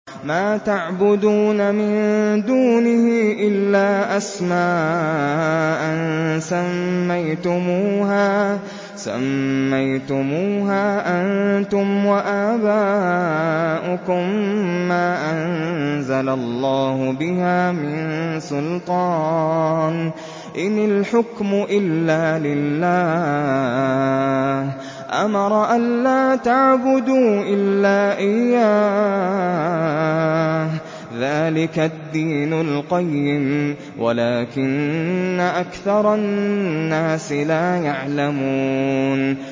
مَا تَعْبُدُونَ مِن دُونِهِ إِلَّا أَسْمَاءً سَمَّيْتُمُوهَا أَنتُمْ وَآبَاؤُكُم مَّا أَنزَلَ اللَّهُ بِهَا مِن سُلْطَانٍ ۚ إِنِ الْحُكْمُ إِلَّا لِلَّهِ ۚ أَمَرَ أَلَّا تَعْبُدُوا إِلَّا إِيَّاهُ ۚ ذَٰلِكَ الدِّينُ الْقَيِّمُ وَلَٰكِنَّ أَكْثَرَ النَّاسِ لَا يَعْلَمُونَ